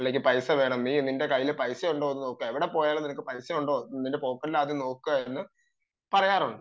നിനക്ക് പൈസ വേണം നിന്റെ കയ്യിൽ പൈസ ഉണ്ടോ എവിടെ പോയാലും കയ്യിൽ പൈസ ഉണ്ടോ നിന്റെ പോക്കറ്റിൽ പൈസ ഉണ്ടോ എന്ന് നോക്കു എന്ന് പറയാറുണ്ട്